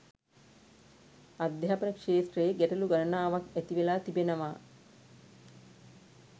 අධ්‍යාපන ක්‍ෂේත්‍රයේ ගැටලු ගණනාවක් ඇති වෙලා තිබෙනවා